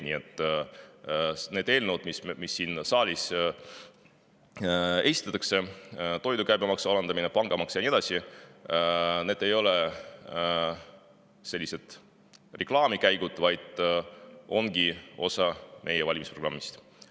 Nii et need eelnõud, mis siin saalis esitatakse – toidu käibemaksu alandamine, pangamaks ja nii edasi –, ei ole reklaamkäigud, vaid need ongi osa meie valimisprogrammist.